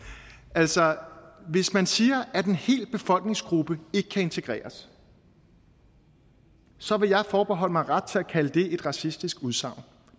altså hvis man siger at en hel befolkningsgruppe ikke kan integreres så vil jeg forbeholde mig ret til at kalde det et racistisk udsagn